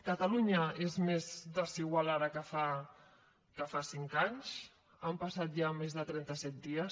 catalunya és més desigual ara que fa cinc anys han passat ja més de trenta set dies